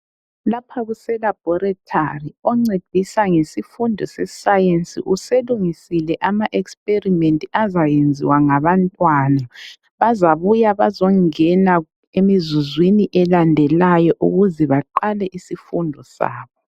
Lapha kuse labhorithali oncedisa ngesifundo sesayensi uselungisile ama experiment azayenziwa ngabantwana bazabuya bazongena emzuzwini elandelayo ukuze baqale isifundo sabo.